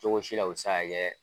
Cogo si la o bɛ se ka kɛ